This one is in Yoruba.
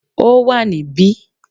Ó wà níbí